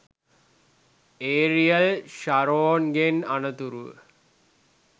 aerial Sharon ගෙන් අනතුරුව